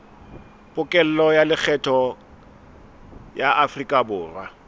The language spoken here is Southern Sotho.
pokello ya lekgetho ya aforikaborwa